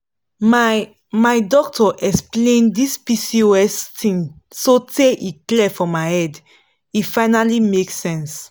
my my doctor explain this pcos thing sotay e clear for my head e finally make sense.